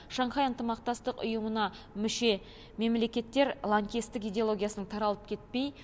шанхай ынтымақтастық ұйымына мүше мемлекеттер лаңкестік идеологиясын таралып кетпей